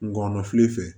Ngɔnɔnkɔnɔfile fɛ